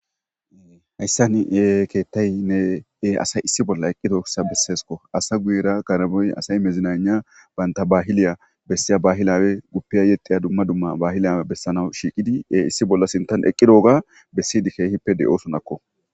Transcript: Hayssani e keettay ne ee asay issi bolla eqqi tooksa besseesko asa guyera karaboy asay mezinana baynta baahiliya bessiya bahilawe guppiya yetiya dumma dumma bahilyawe bessanaw shiiqidi ee issi bolla sintan eqqi dooga bessidi keehippe de'o sonakko.